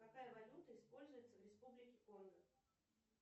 какая валюта используется в республике конго